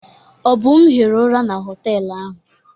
Obum hiri ụra na họtelụ ahụ.